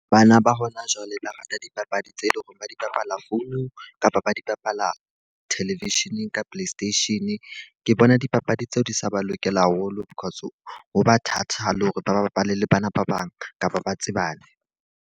Bana ba hona jwale ba rata dipapadi tse leng hore ba di bapala founung, kapa ba di bapala television-eng ka play station. Ke bona dipapadi tseo di sa ba lokela haholo, because ho ba thata le hore ba bapale le bana ba bang kapa ba tsebane.